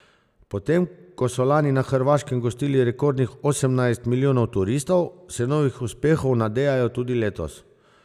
Potem ko so lani na Hrvaškem gostili rekordnih osemnajst milijonov turistov, se novih uspehov nadejajo tudi letos.